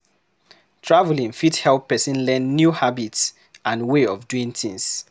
Travelling fit help person learn new habits and way of doing tins